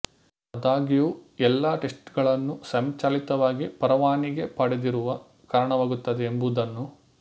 ಆದಾಗ್ಯೂ ಎಲ್ಲಾ ಟೆಸ್ಟ್ಗಳನ್ನು ಸ್ವಯಂಚಾಲಿತವಾಗಿ ಪರವಾನಿಗೆ ಪಡೆದಿರುವ ಕಾರಣವಾಗುತ್ತದೆ ಎಂಬುದನ್ನು